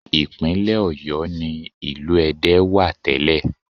Ìpínlẹ̀ Ọ̀yọ́ ni ìlú Ẹdẹ wà tẹ́lẹ̀